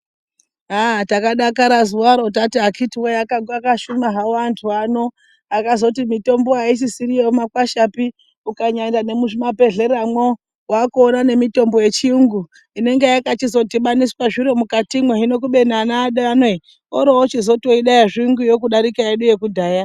Aaa takadakara zuwaro tati akiti woye vakashuma havo antu ano akazoti mitombo aisisiri yemumakwashapi ukanyaenda nemumazvibhedhlera mwo wakuona nemitombo yechiyungu inenge yakachizodhibaniswa nezviro mukatimwo hino kubeni vana edu ano ere orochizotoida yezviyungu kudarika yedu yekudhaya.